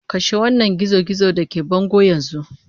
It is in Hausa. Kashe wannan gizo-gizon da ke bango yanzu!